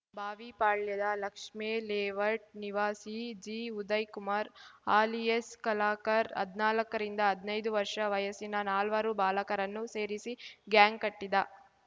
ಬಾವಿಪಾಳ್ಯದ Lakshmi layout ನಿವಾಸಿ ಜಿಉದಯ್‌ Kumar alias ಕಲಕರ್ ಹದ್ನಾಲ್ಕರಿಂದ ಹದ್ನೈದು ವರ್ಷ ವಯಸ್ಸಿನ ನಾಲ್ವರು ಬಾಲಕರನ್ನು ಸೇರಿಸಿ ಗ್ಯಾಂಗ್‌ ಕಟ್ಟಿದ್ದ